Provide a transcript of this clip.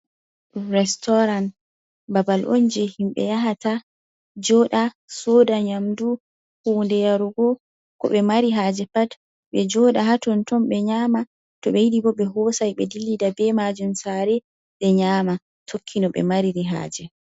Restorant. babal onje himɓe yahata, joda, soda nyamdu, hunde yarugo, ko ɓe mari haje pat. ɓejoda haton ton. ɓe nyama. to ɓe yiɗi bo ɓe hosai be dillida be majum sare ɓ e nyama tokki no ɓe mari-ri haje.